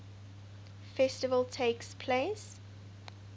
festival takes place